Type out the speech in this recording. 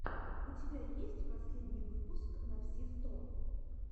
у тебя есть последний выпуск навсисто